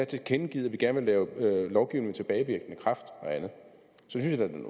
tilkendegivet at vi gerne vil lave lovgivning med tilbagevirkende kraft og andet